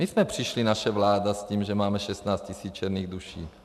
My jsme přišli, naše vláda, s tím, že máme 16 tisíc černých duší.